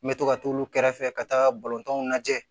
N bɛ to ka t'olu kɛrɛfɛ ka taaga balontanw lajɛ